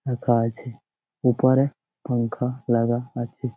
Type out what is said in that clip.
ফাঁকা আছে উপরে পাঙ্খা লাগা আছে।